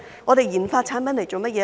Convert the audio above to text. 我們研發產品來做甚麼呢？